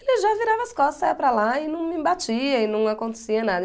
Ele já virava as costas, saia para lá e não me batia e não acontecia nada.